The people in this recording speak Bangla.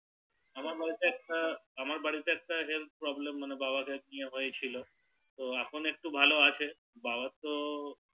আমার বাড়িতে একটা আমার বাড়িতে Health problem পাওয়া বা হয়েছিল তো এখন একটু ভালো আছে বাবার তো